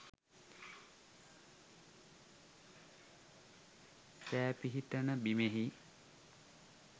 සෑ පිහිටන බිමෙහි